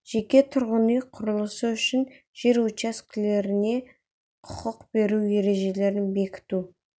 жеке тұрғын үй құрлысы үшін жер учаскелеріне құқық беру ережелерін бекіту